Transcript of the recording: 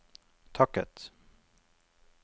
takket